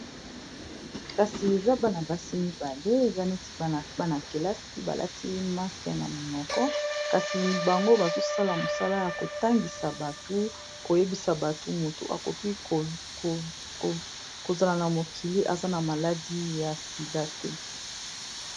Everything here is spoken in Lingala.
kasi eza bana-basi mibale eza neti bana-kelasi balati mask na minoko kasi bango bazosala mosala ya kotangisa batu koyebisa batu motu akoki kozala na mokili aza na maladi ya sida te